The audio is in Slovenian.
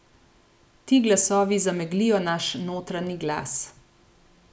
Ti glasovi zameglijo naš notranji glas.